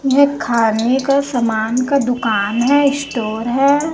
यह खाने का सामान का दुकान है स्टोर है।